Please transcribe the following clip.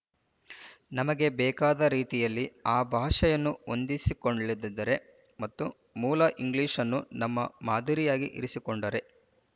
ನಮಗೆ ಬೇಕಾದ ರೀತಿಯಲ್ಲಿ ಆ ಭಾಷೆಯನ್ನು ಹೊಂದಿಸಿಕೊಳ್ಳದಿದ್ದರೆ ಮತ್ತು ಮೂಲ ಇಂಗ್ಲೀಷನ್ನು ನಮ್ಮ ಮಾದರಿಯಾಗಿ ಇರಿಸಿಕೊಂಡರೆ